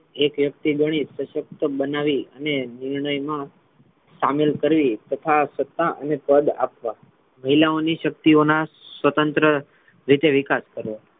એક એક થી ઘણી શશક્ત બનાવી અને નિર્ણય મા શામિલ કરી તથા સત્તા અને પદ આપવા મહિલાઓની શક્તિઓના સ્વતંત્ર રીતે વિકાસ કરવો.